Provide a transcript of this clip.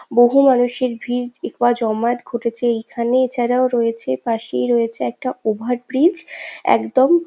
বহু মানুষের ভিড় এবং জমায়েত ঘটেছে এইখানে এছাড়াও রয়েছে পাশেই রয়েছে একটা ওভার ব্রিজ একদম--